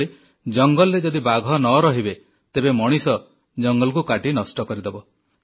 ସେଇଭଳି ଜଙ୍ଗଲରେ ଯଦି ବାଘ ନ ରହିବେ ତେବେ ମଣିଷ ଜଙ୍ଗଲକୁ କାଟି ନଷ୍ଟ କରିଦେବ